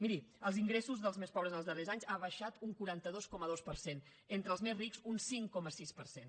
miri els ingressos dels més pobres en els darrers anys ha baixat un quaranta dos coma dos per cent entre els més rics un cinc coma sis per cent